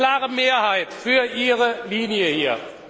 Sie haben eine klare Mehrheit für ihre Linie hier.